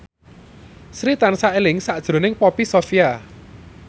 Sri tansah eling sakjroning Poppy Sovia